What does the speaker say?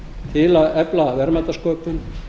til að efla verðmætasköpun